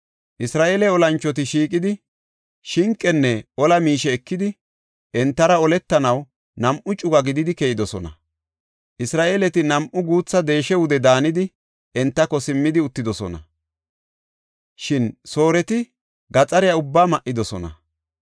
Isra7eele olanchoti shiiqidi, shinqenne ola miishe ekidi, entara oletanaw nam7u cuga gididi keyidosona. Isra7eeleti nam7u guutha deesha wude daanidi, entako simmidi uttidosona; shin Sooreti gaxariya ubbaa ma7idosona.